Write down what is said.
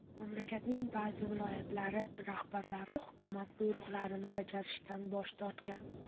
Mamlakatning ba’zi viloyatlari rahbarlari hukumat buyruqlarini bajarishdan bosh tortgan.